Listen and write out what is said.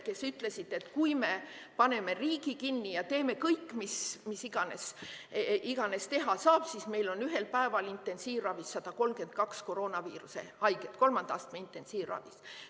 Nad ütlesid, et kui me paneme riigi kinni ja teeme kõik, mis iganes teha saab, siis meil on ühel päeval intensiivravis 132 koroonaviiruse haiget, kolmanda astme intensiivravis.